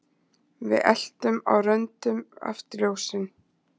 Við eltum á röndum afturljósin